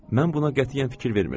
Mən buna qətiyyən fikir vermirdim.